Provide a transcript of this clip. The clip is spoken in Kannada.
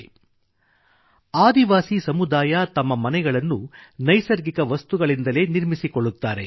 • ಆದಿವಾಸಿ ಸಮುದಾಯ ತಮ್ಮ ಮನೆಗಳನ್ನು ನೈಸರ್ಗಿಕ ವಸ್ತುಗಳಿಂದಲೇ ನಿರ್ಮಿಸಿಕೊಳ್ಳುತ್ತಾರೆ